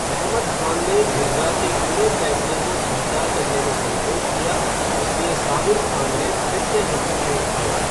अहमद खान ने जिरगा के खुले फैसले को स्वीकार करने में संकोच किया, इसलिए साबिर खान ने फिर से हस्तक्षेप किया।